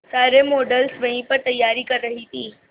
सारे मॉडल्स वहीं पर तैयारी कर रही थी